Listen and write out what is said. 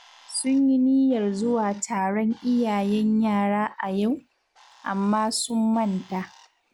Sun yi niyyar zuwa taron iyayen yara a yau, amma sun manta